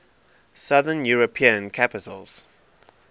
southern european capitals